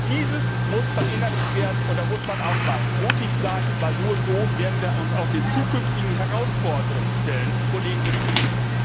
Dieses muss verinnerlicht werden, und da muss man auch einmal mutig sein, denn nur so werden wir uns auch den zukünftigen Herausforderungen stellen, vor denen wir stehen.